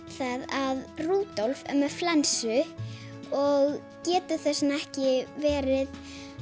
að Rúdolf er með flensu og getur þess vegna ekki verið